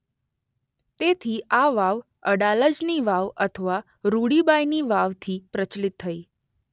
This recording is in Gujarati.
તેથી આ વાવ અડાલજની વાવ અથવા રૂડીબાઇની વાવથી પ્રચલિત થઇ.